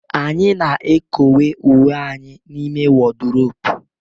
Anyị na-ekowe uwe anyị n'ime wọdropu